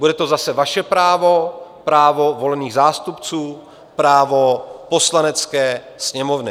Bude to zase vaše právo, právo volených zástupců, právo Poslanecké sněmovny.